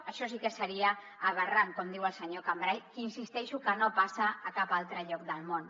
això sí que seria aberrant com diu el senyor cambray i insisteixo que no passa a cap altre lloc del món